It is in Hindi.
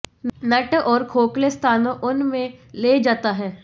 नट और खोखले स्थानों उन में ले जाता है